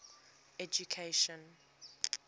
education